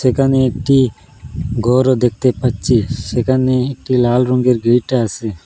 এখানে একটি গরও দেখতে পাচ্ছি সেখানে একটি লাল রঙের গেট আসে।